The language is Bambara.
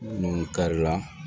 Nun kari la